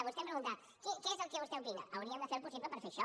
vostè em pregunta què és el que vostè opina hauríem de fer el possible per fer això